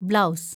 blouse